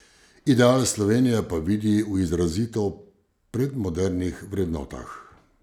Ideal Slovenije pa vidi v izrazito predmodernih vrednotah.